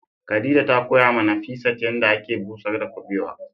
Khadija ta koya ma Nafisat yanda ake busar da kubewa.